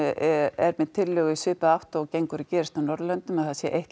er með tillögu í svipaða átt og gengur og gerist á Norðurlöndum að það sé eitt